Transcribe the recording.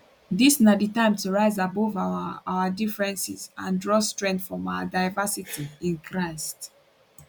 dis na di time to rise above our our differences and draw strength from our diversity in christ